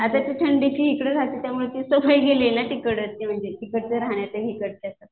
आता ती थंडीची इकडं राहते त्यामुळे ती सवय गेलेली ना तिकडची म्हणजे तिकडच्या राहण्याची आणि हिकडच्या.